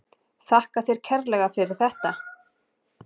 Þakka þér kærlega fyrir þetta.